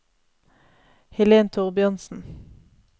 Helen Thorbjørnsen